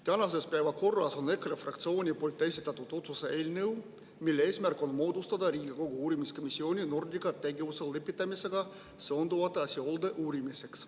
Tänases päevakorras on EKRE fraktsiooni esitatud otsuse eelnõu, mille eesmärk on moodustada Riigikogu uurimiskomisjon Nordica tegevuse lõpetamisega seonduvate asjaolude uurimiseks.